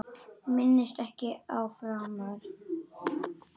Minnist ekki á þetta framar.